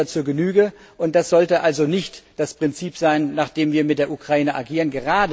Das kennen wir zur Genüge, und das sollte also nicht das Prinzip sein, nach dem wir mit der Ukraine agieren.